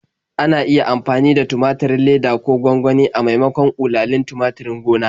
Ana iya amfani da tumaturin leda ko gwangwani a maimakon ƙulalin tumaturin gona.